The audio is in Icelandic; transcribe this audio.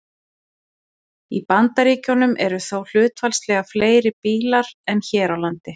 Í Bandaríkjunum eru þó hlutfallslega fleiri bílar en hér á landi.